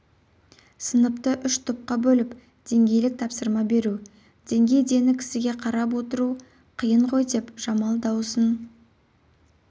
сыныпты үш топқа бөліп деңгейлік тапсырма беру деңгей дені кісіге қарап отыру қиын ғойдеп жамал дауысын